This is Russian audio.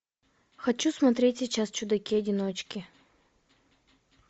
хочу смотреть сейчас чудаки одиночки